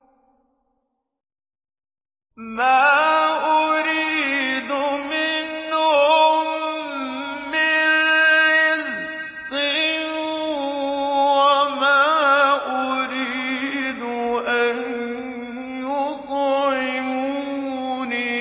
مَا أُرِيدُ مِنْهُم مِّن رِّزْقٍ وَمَا أُرِيدُ أَن يُطْعِمُونِ